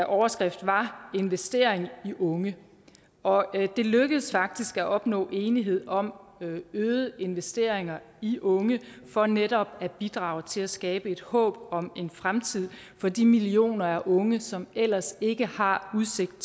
overskrift var investering i unge og det lykkedes faktisk at opnå enighed om øgede investeringer i unge for netop at bidrage til at skabe et håb om en fremtid for de millioner af unge som ellers ikke har udsigt